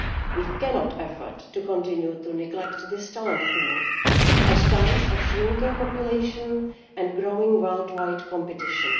We cannot afford to continue to neglect this talent pool at a time of shrinking populations and growing worldwide competition.